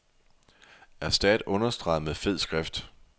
Erstat understreget med fed skrift.